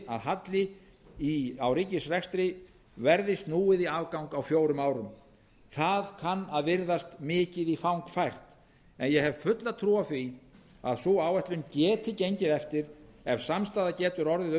að halla í ríkisrekstrinum verði snúið í afgang á fjórum árum það kann að virðast mikið í fang færst en ég hef fulla trú á því að sú áætlun geti gengið eftir ef samstaða getur orðið um